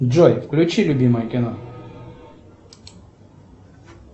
джой включи любимое кино